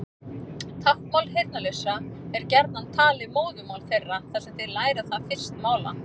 Táknmál heyrnarlausra er gjarnan talið móðurmál þeirra þar sem þeir læra það fyrst mála.